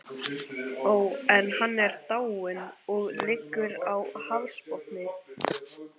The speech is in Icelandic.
Ó, en hann er dáinn, og liggur á hafsbotni.